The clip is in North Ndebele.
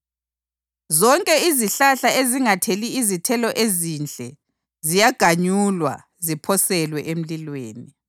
Zonke izihlahla ezingatheli izithelo ezinhle ziyaganyulwa ziphoselwe emlilweni.